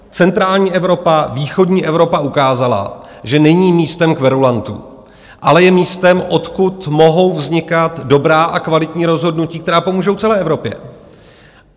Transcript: Centrální Evropa, východní Evropa ukázala, že není místem kverulantů, ale je místem, odkud mohou vznikat dobrá a kvalitní rozhodnutí, která pomůžou celé Evropě.